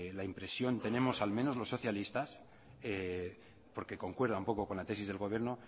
la impresión tenemos al menos los socialistas porque concuerda un poco con la tesis del gobierno